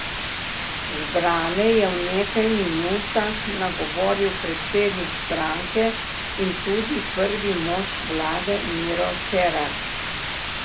Zbrane je v nekaj minutah nagovoril predsednik stranke in tudi prvi mož vlade Miro Cerar.